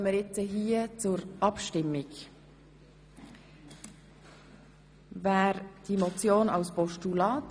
Ein Teil der Pauschalbesteuerten reicht die Steuererklärung dennoch von sich aus ein, unter anderem für die Rückerstattung der Verrechnungssteuer.